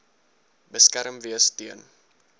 beskerm wees teen